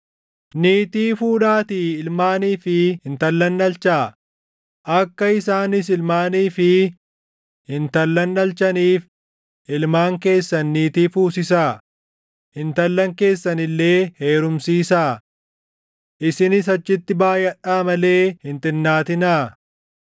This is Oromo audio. Niitii fuudhaatii ilmaanii fi intallan dhalchaa; akka isaanis ilmaanii fi intallan dhalchaniif ilmaan keessan niitii fuusisaa; intallan keessan illee heerumsiisaa. Isinis achitti baayʼadhaa malee hin xinnaatinaa.